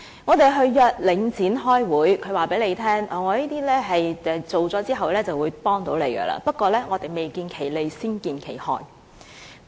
我們約領展開會，它卻告訴我們在完成這些工程後便對居民會有幫助，不過卻未見其利，先見其害。